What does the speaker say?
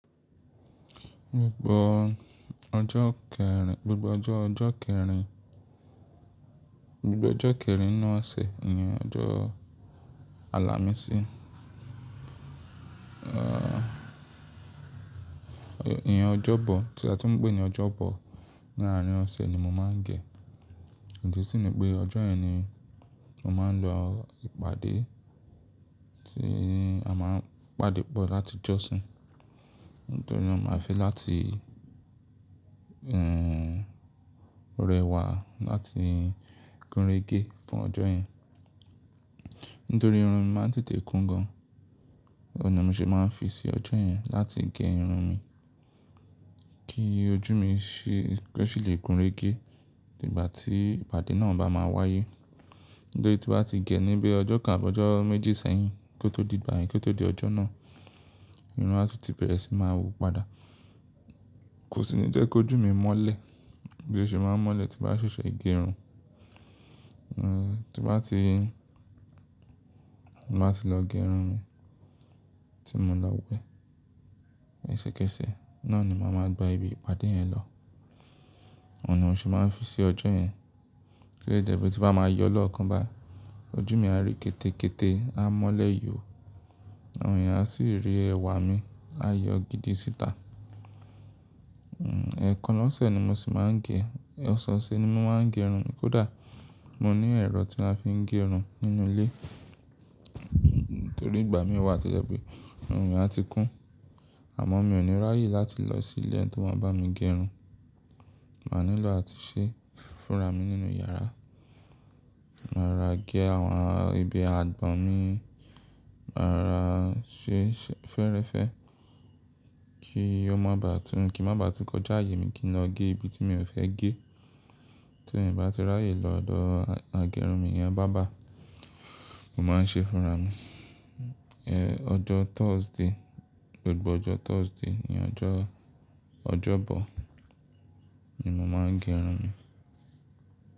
Gbogbo ọjọ́ kẹrin, gbogbo ọjọ́ ọjọ́ kẹrin, gbogbo ọjọ́ kẹrin ninu sẹ ìyẹn ọjọ́ Alàmísì. Ìyẹn ọjọ́bọ̀, tí a tó ń pè ní ọjọ́bọ̀. Ní àárín ọ̀sẹ̀ ni mo máa ń gẹ̀. Ìdì sí mi pé ọjọ́ yẹn ni mo máa ń lọ ìpàdé tí a máa ń pàdé pọ̀ láti jọ́sin. Nítorí mo máa ń fẹ́ láti rẹwà láti gúnrégé fún ọjọ́ yẹn. Nítorí irun mi máa ń tètè kún gan an. Òun ni mo ṣe máa ń fi sí ọjọ́ yẹn láti gé irun mi kí ojú mi ṣì le gúnrégé nígbà tí ìpàdé náà bá máa wáyé. Nítorí tí bá ti gẹ̀ níbí ọjọ́ kan àbọ́ ọjọ́ méjì sẹ́yìn kó tó di ìgbà yẹn kó tó di ọjọ́ náà, irun á ti bẹ̀rẹ̀ sí máa hù padà. Kò sì ní jẹ́ kí ojú mi mọ́lẹ̀ bí ó ṣe máa ń mọ́lẹ̀ tí bá ṣoṣo gẹ irun. Ti bá ti, m bá ti lọ gé irun mi tí mo lọ wẹ ẹṣẹ̀kẹ́ṣẹ̀ náà ni mo máa ń gba ibi ìpàdé yẹn lọ. Òun ni mo ṣe máa ń fi sí ọjọ́ yẹn kí lè dẹ́bọ̀ tí bá máa yọ lọ́ọ̀kan bá, ojú mi á rí kété kété, á mọ́lẹ̀ yóò àwọn èèyàn á sì rí ẹwà mi, á yọ gidi síta. Ẹ̀ẹ̀kan lọ́sẹ̀ ni mo sì máa ń gẹ̀. Ọ̀sẹ̀ ọ̀sẹ̀ ni mo máa ń gé irun mi. Kódà mo ní ẹ̀rọ tí a fi ń gé irun nínú ilé nítorí ìgbà mí wá ti jẹ́ pé irun mi á ti kún àmọ́ mi ò ní ráyè láti lọ sí ilé tí wọ́n bá mi gé irun. Máa nílò àti ṣe fúnra mi nínú yàrá. Màá rọ̀ ra gé àwọn ibi àgbọ̀n mi, màá rọ̀ ra ṣe sẹ fẹ́ẹ́rẹ́fẹ́ kí ó má bá tún, kí í má bá tún kọjá ààyè mi kí n lọ gé ibi tí mi ò fẹ́ gé. Torí tí bá ti ráyè lọ dọ̀ àgẹ́ irun mi, ìyá bàábá mo máa ń ṣe fúnra mi. Ọjọ́ Thursday, gbogbo ọjọ́ Thursday ni ọjọ́, ọjọ́bọ̀ ni mo máa ń gé irun mi.